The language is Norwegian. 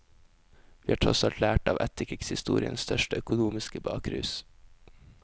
Vi har tross alt lært av etterkrigshistoriens største økonomiske bakrus.